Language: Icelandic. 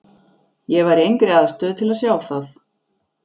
Ég var í engri aðstöðu til að sjá það.